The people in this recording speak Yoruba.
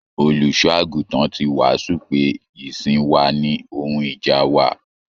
Olùṣọ àgùntàn tí wàásù pé ìsìn wà ní ohun ìjà wa.